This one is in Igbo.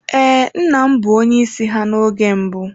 Ee, nna m bụ onye isi ha n'oge mbụ.